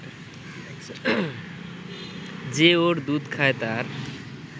যে ওর দুধ খায় তার